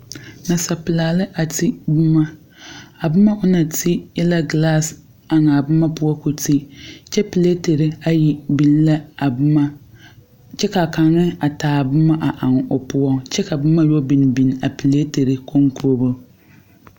Nasapulaa lɛ a te boma. A boma o na te e la glas eŋ a boma poʊ k'o te. Kyɛ piletere ayi biŋ la a boma. Kyɛ ka kang a taa boma a eŋ o poʊ. Kyɛ ka boma yoɔ biŋ biŋ a piletere konkogo